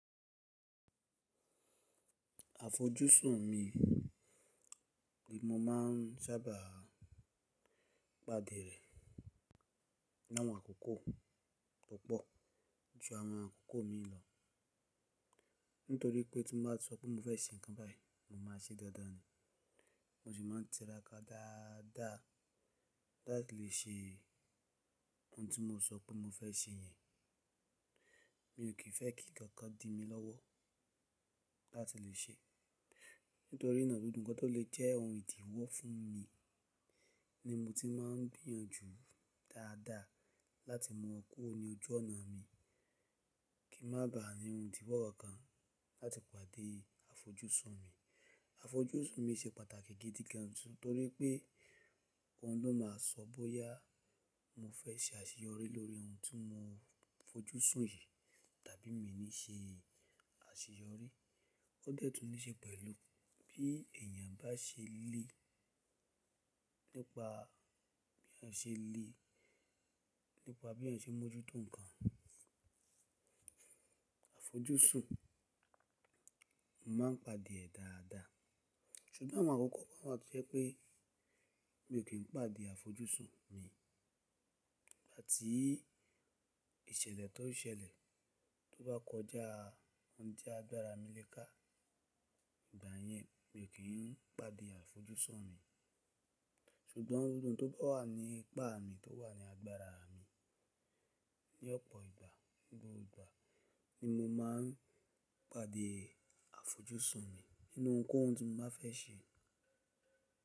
Àfojúsùn mi ni mo máà n sábà pàdé rẹ nínú àwọn àkókò tó pọ̀ ju àwọn àkókò mi lọ. Nítorí pé tí mo bá sọ pé mo fẹ́ ṣe nǹkan báyìí mo máa ṣe dáadáa ni. Mo sì máa n tira ká dáadáa láti lè ṣe ohun tí mo sọ pé mo fẹ́ ṣe yẹn. Mi ò kí fẹ́ kí kankan di mi lọ́wọ́ láti lè ṣe é. Nítorí náà gbogbo ǹkan tó lè jẹ́ ohun ìdíwọ́ fún mi ni mo ti má n gbìyànjú dáadáa láti mu wọn kuro ní ojú ọ̀nà mi. Kí má ba à ní ohun ìdíwọ́ kan láti pàdé àfojúsùn mi. Àfojúsùn mi ṣe pàtàkì gidi gan nítorí pé òun ló máa sọ bóyá mo fẹ́ ṣe àṣeyọrí lórí ohun tí mo fojúsùn yi tàbí mi ní ṣe àṣeyọrí. Ó dẹ́ tùn ní ṣe pẹ̀lú bí èèyàn bá ṣe lé, nípa bí èèyàn ṣe lé, nípa bí èèyàn ṣe mójútó ǹkan. Àfojúsùn, mo má n pàdé e dáadáa. Ṣùgbọ́n àwọn àkókò kan wáa tó jẹ́ pé mi ò kí n pàdé àfojúsùn mi. Áti ìṣẹ̀lẹ̀ tó n ṣẹlẹ̀ tó bá kọjá ohun tí agbàra mi lé ká ìgbà yẹn mi ò kí n pàdé àfojúsùn mi. Ṣùgbọ́n ohun tó bá wà ní ipá mi, tó wà ní agbára mi ní ọ̀pọ̀ ìgbà, ní gbogbo ìgbà ni mo máa n pàdé àfojúsùn mi nínú ohun kohun tí mo bá fẹ́ ṣe.